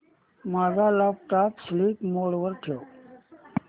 माझा laptop sleep mode वर ठेव